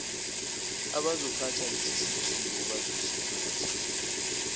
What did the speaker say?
abazophatha lesisakhiwo bazosiphatha